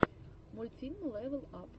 мультфильм лэвел ап